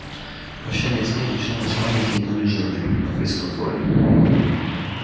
прощание с ней начиналось маленьким унижением на фейс-контроле